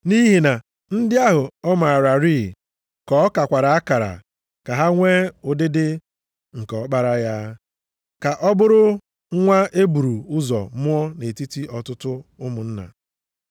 Nʼihi na ndị ahụ ọ maararị ka ọ kakwara akara ka ha nwe ụdịdị nke Ọkpara ya, ka ọ bụrụ nwa e buru ụzọ mụọ nʼetiti ọtụtụ ụmụnna.